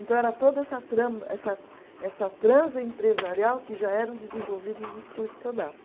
Então era toda essa trama, essa essa transa empresarial que já eram desenvolvidas nos cursos que eu dava.